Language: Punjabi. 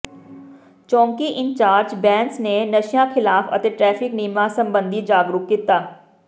ਚੌਕੀ ਇੰਚਾਰਜ ਬੈਂਸ ਨੇ ਨਸ਼ਿਆਂ ਿਖ਼ਲਾਫ਼ ਅਤੇ ਟ੍ਰੈਫ਼ਿਕ ਨਿਯਮਾਂ ਸਬੰਧੀ ਜਾਗਰੂਕ ਕੀਤਾ